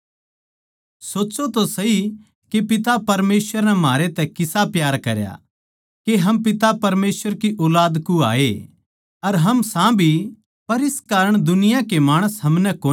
सोच्चों तो सही के पिता परमेसवर नै म्हारै तै किसा प्यार करया कै हम पिता परमेसवर की ऊलाद कहवाऐ अर हम सां भी पर इस कारण दुनिया के माणस हमनै कोनी जाणते के हम परमेसवर की ऊलाद सां क्यूँके वे पिता परमेसवर नै भी कोनी जाणते